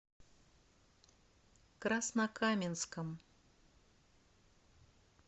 краснокаменском